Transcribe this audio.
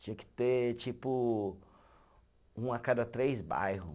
Tinha que ter, tipo, um a cada três bairro.